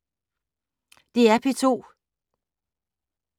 DR P2